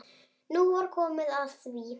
Nú var komið að því!